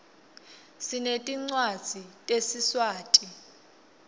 sinetincwadzi tesiswati